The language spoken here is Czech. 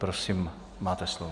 Prosím, máte slovo.